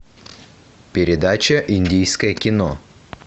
передача индийское кино